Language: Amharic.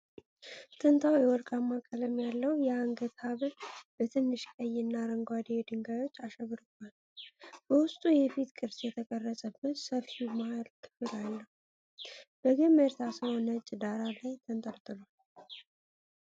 ጥንታዊ ወርቃማ ቀለም ያለው የአንገት ሐብል በትንሽ ቀይና አረንጓዴ ድንጋዮች አሸብርቆአል። በውስጡ የፊት ቅርጽ የተቀረጸበት ሰፊው መሃል ክፍል አለው፤ በገመድ ታስሮ ነጭ ዳራ ላይ ተንጠልጥሏል።